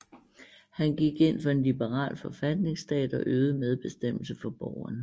Han gik ind for en liberal forfatningsstat og øgede medbestemmelse for borgerne